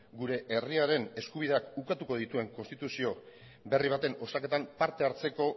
gure herriaren eskubideak ukatuko dituen konstituzio berri baten osaketan parte hartzeko